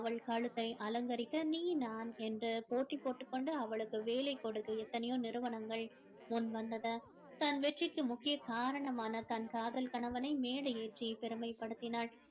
அவள் கழுத்தை அலங்கரிக்க நீ நான் என்று போட்டி போட்டுக் கொண்டு அவளுக்கு வேலை கொடுக்க எத்தனையோ நிறுவனங்கள் முன் வந்தது தன் வெற்றிக்கு முக்கிய காரணமான தன் காதல் கணவனை மேடை ஏற்றி பெருமைப்படுத்தினாள்